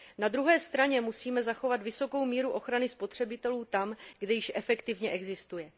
Na druhé straně musíme zachovat vysokou míru ochrany spotřebitelů tam, kde již efektivně existuje.